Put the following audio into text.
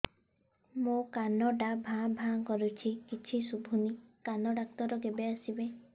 ମୋ କାନ ଟା ଭାଁ ଭାଁ କରୁଛି କିଛି ଶୁଭୁନି କାନ ଡକ୍ଟର କେବେ ଆସିବେ